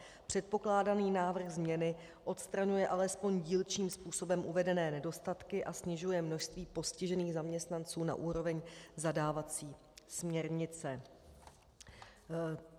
Předkládaný návrh změny odstraňuje alespoň dílčím způsobem uvedené nedostatky a snižuje množství postižených zaměstnanců na úroveň zadávací směrnice.